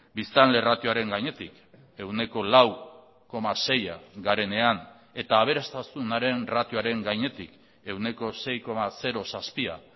biztanle ratioaren gainetik ehuneko lau koma seia garenean eta aberastasunaren ratioaren gainetik ehuneko sei koma zazpia